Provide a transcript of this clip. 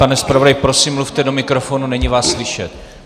Pane zpravodaji, prosím, mluvte do mikrofonu, není vás slyšet.